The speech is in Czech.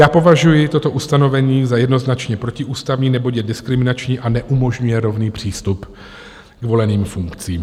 Já považuji toto ustanovení za jednoznačně protiústavní, neboť je diskriminační a neumožňuje rovný přístup k voleným funkcím.